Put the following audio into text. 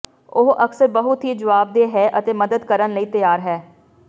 ਉਹ ਅਕਸਰ ਬਹੁਤ ਹੀ ਜਵਾਬਦੇਹ ਹੈ ਅਤੇ ਮਦਦ ਕਰਨ ਲਈ ਤਿਆਰ ਹੈ